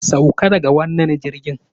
Sauka daga wannan jirgin!